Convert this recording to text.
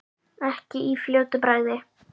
Ekki í fljótu bragði.